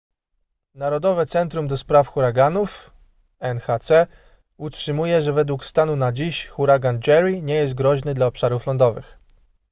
narodowe centrum ds. huraganów nhc utrzymuje że według stanu na dziś huragan jerry nie jest groźny dla obszarów lądowych